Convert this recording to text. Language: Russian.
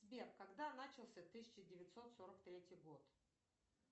сбер когда начался тысяча девятьсот сорок третий год